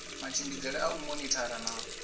matshimbidzele a u monithara na